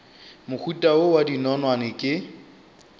mohuta wo wa dinonwane ke